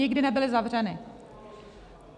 Nikdy nebyly zavřeny.